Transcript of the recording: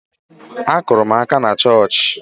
Akụụrụ m aka na chọọchị